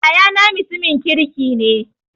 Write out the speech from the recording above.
Yayana mutumin kirki ne